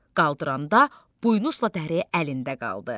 Qaldıranda buynuzla dəri əlində qaldı.